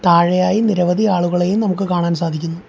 താഴെയായി നിരവധി ആളുകളെയും നമുക്ക് കാണാൻ സാധിക്കുന്നു.